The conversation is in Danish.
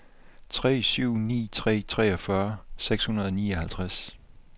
tre syv ni tre treogfyrre seks hundrede og nioghalvtreds